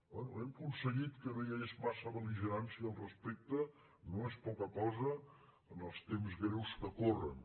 bé hem aconseguit que no hi hagués massa bel·ligerància al respecte no és poca cosa en els temps greus que corren